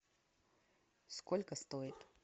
сколько стоит